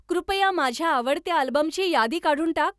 कृपया माझ्या आवडत्या अल्बमची यादी काढून टाक